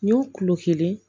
N y'o kulo kelen